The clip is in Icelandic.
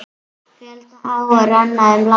Fjölda áa renna um landið.